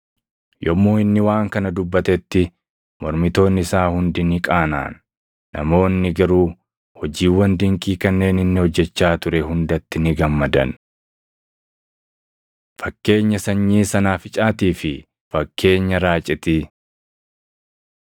Yommuu inni waan kana dubbatetti mormitoonni isaa hundi ni qaanaʼan; namoonni garuu hojjiiwwan dinqii kanneen inni hojjechaa ture hundatti ni gammadan. Fakkeenya Sanyii Sanaaficaatii fi Fakkeenya Raacitii 13:18,19 kwf – Mar 4:30‑32 13:18‑21 kwf – Mat 13:31‑33